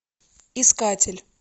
искатель